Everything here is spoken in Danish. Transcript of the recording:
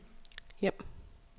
hjem